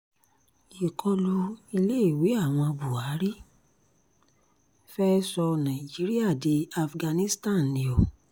ìkọlù iléèwé àwọn buhari fee sọ nàìjíríà di afghanistan ni o